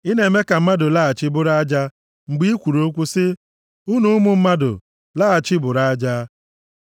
Ị na-eme ka mmadụ laghachi bụrụ aja mgbe i kwuru okwu sị, “Unu ụmụ mmadụ, laghachi bụrụ aja.”